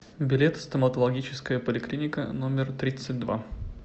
билет стоматологическая поликлиника номер тридцать два